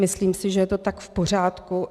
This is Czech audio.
Myslím si, že je to tak v pořádku.